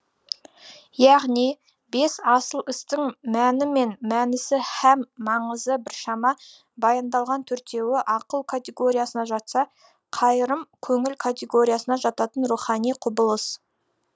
яғни бес асыл істің мәні мен мәнісі һәм маңызы біршама баяндалған төртеуі ақыл категориясына жатса қайырым көңіл категориясына жататын рухани құбылыс